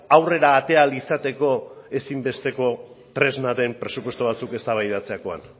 aurrera atera ahal izateko ezinbesteko tresna den presupuesto batzuk eztabaidatzerakoan